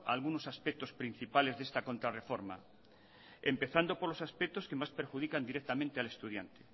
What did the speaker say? a algunos aspectos principales de esta contra reforma empezando por los aspectos que más perjudican directamente al estudiante